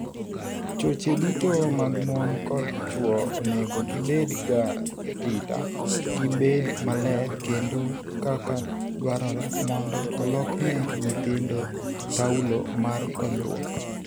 Choche duto mag mon kod chuo onego gi bed ga rita , gi bed maler kendo kaka dwarore mondo olokne nyithindo taulo mar konyruok.